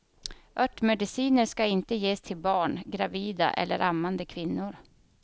Örtmediciner ska inte ges till barn, gravida eller ammande kvinnor.